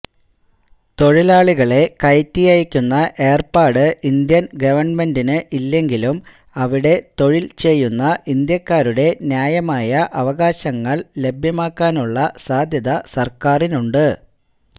തൊഴിലാളികളെ കയറ്റിയയക്കുന്ന ഏര്പ്പാട് ഇന്ത്യന് ഗവണ്മെന്റിന് ഇല്ലെങ്കിലും അവിടെ തൊഴില്ചെയ്യുന്ന ഇന്ത്യക്കാരുടെ ന്യായമായ അവകാശങ്ങള് ലഭ്യമാക്കാനുള്ള ബാധ്യത സര്ക്കാരിനുണ്ട്